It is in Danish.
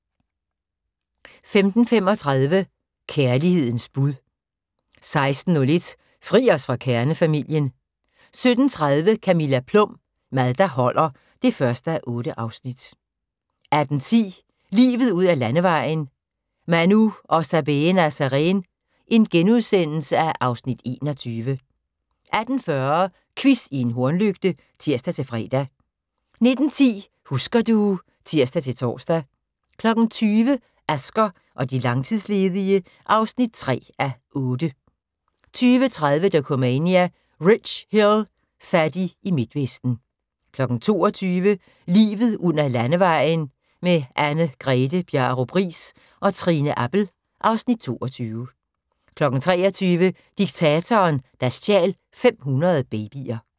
15:35: Kærlighedens bud 16:01: Fri os fra kernefamilien 17:30: Camilla Plum – Mad der holder (1:8) 18:10: Livet ud ad landevejen: : Manu og Sabeena Sareen (Afs. 21)* 18:40: Quiz i en hornlygte (tir-fre) 19:10: Husker du ... (tir-tor) 20:00: Asger og de langtidsledige (3:8) 20:30: Dokumania: Rich Hill – fattig i Midtvesten 22:00: Livet ud ad landevejen: Anne Grethe Bjarup Riis og Trine Appel (Afs. 22) 23:00: Diktatoren, der stjal 500 babyer